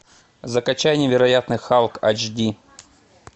закачай невероятный халк айч ди